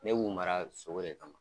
Ne b'u mara sogo de kama.